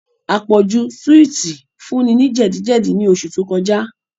Àpọ̀jù súwìtì fun ní jẹ̀díjẹ̀dí ní oṣù tó kọjá